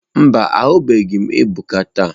Mba, ahụbeghị m Ebuka taa.